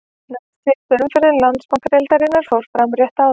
Næst síðasta umferð Landsbankadeildarinnar fór fram rétt áðan.